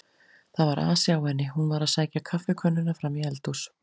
Það var asi á henni, hún var að sækja kaffikönnuna fram í eldhús.